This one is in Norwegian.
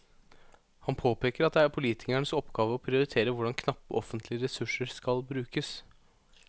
Han påpeker at det er politikernes oppgave å prioritere hvordan knappe offentlige ressurser skal brukes.